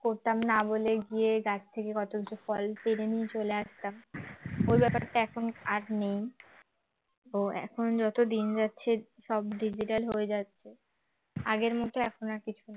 করতাম না বলেই গিয়ে গাছ থেকে কত কিছু ফল পেড়ে নিয়ে চলে আসতাম ওই ব্যাপারটা এখন আর নেই তো এখন যত দিন যাচ্ছে সব digital হয়ে যাচ্ছে আগের মতন এখন আর কিছু